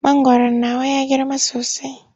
Mangwaron nawa ya girma sosai.